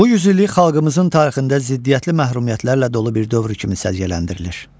Bu yüzillik xalqımızın tarixində ziddiyyətli məhrumiyyətlərlə dolu bir dövr kimi səciyyələndirilir.